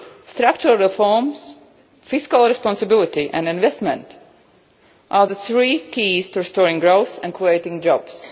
Structural reforms, fiscal responsibility and investment are the three keys to restoring growth and creating jobs.